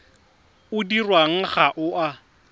o dirwang ga o a